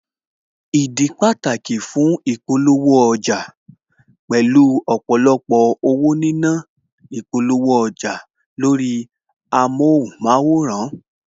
Ìdí pàtàkì fún ìpolówó ọjà, pẹ̀lú ọ̀pọ̀lọpọ̀ owó nínà lórí ìpolówó ọjà lórí amóhunmáwòrán